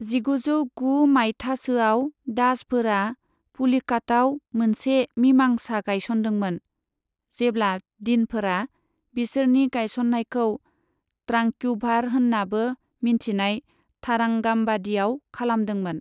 जिग'जौ गु माइथासोआव दाचफोरा पुलिकाताव मोनसे मिमांसा गायसनदोंमोन, जेब्ला देनफोरा बिसोरनि गायसननायखौ त्रांक्युभार होननाबो मिन्थिजानाय थारांगामबादियाव खालामदोंमोन।